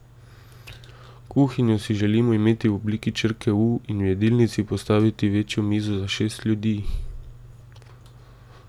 Kuhinjo si želimo imeti v obliki črke U in v jedilnici postavili večjo mizo za šest ljudi.